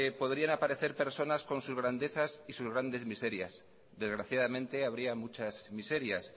podrían aparecer personas con sus grandezas y sus grandes miserias desgraciadamente habría muchas miserias